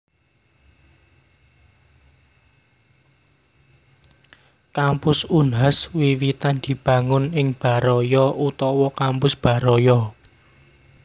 Kampus Unhas wiwitan dibangun ing Baraya utawa Kampus Baraya